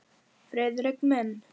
Friðrik minn!